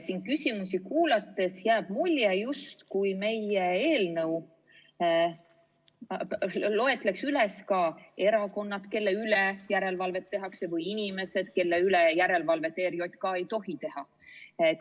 Siin küsimusi kuulates jääb mulje, justkui meie eelnõu loetleks ka erakonnad, kelle üle järelevalvet tehakse, või inimesed, kelle üle järelevalvet ERJK ei tohi teha.